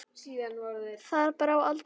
Þar brá aldrei skugga á.